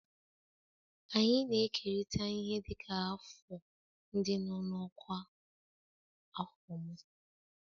Anyị na-ekerịta ihe dịka afọ ndị nọ n'ọkwa ọkwa afọ m.